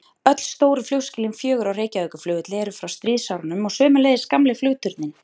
Öll stóru flugskýlin fjögur á Reykjavíkurflugvelli eru frá stríðsárunum og sömuleiðis gamli flugturninn.